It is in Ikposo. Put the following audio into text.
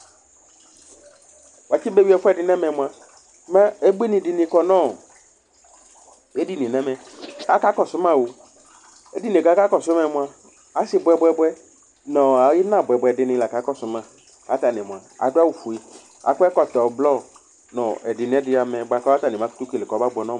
Watsi bewi ɛfʋɛdi nʋ ɛmɛ mʋa mɛ ubuinikɔ nʋ edinie nʋ ɛmɛ, akakɔsʋ mao edinie kʋ akakɔsʋ ma yɛ mʋa, asi bʋɛ bʋɛ bʋɛ nʋ ina bʋe bʋɛ bʋɛni laka kɔsʋ ma kʋ atani mʋa adʋ awʋfue, kʋ akɔ ɛkɔtɔ blɔ nʋ ɛdi nʋ ɛdi amɛ bʋakʋ atani bakʋtʋ kele kʋ ɔmabʋɛ nʋ ɔmʋ